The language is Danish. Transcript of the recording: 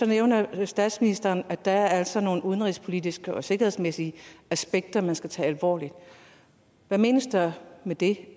nævner statsministeren at der altså er nogle udenrigspolitiske og sikkerhedsmæssige aspekter man skal tage alvorligt hvad menes der med det